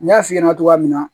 N y'a f'i ɲɛna cogoya min na